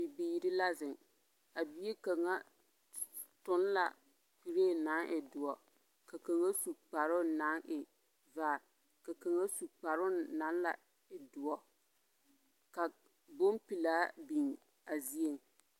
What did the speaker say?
Bibiiri la zeŋ, a bie toŋ la kuree naŋ e doɔ, ka kaŋa su kparoo naŋ e vaare, ka kaŋa lɛ su kparoo naŋ e doɔ, ka bompelaa biŋ a zieŋ.